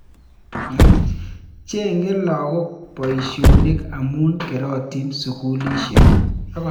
Cheng'e lagok poisyonik amu kerotin sukulisyek.